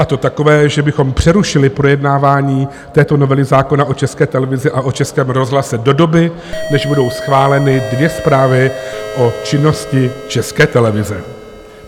A to takové, že bychom přerušili projednávání této novely zákona o České televizi a o Českém rozhlase do doby, než budou schváleny dvě zprávy o činnosti České televize.